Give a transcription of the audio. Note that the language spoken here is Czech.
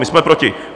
My jsme proti.